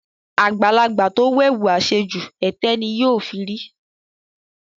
Àgbàlagbà tó wẹ̀wù àṣejù, ẹ̀tẹ́ ni yóò fi rí.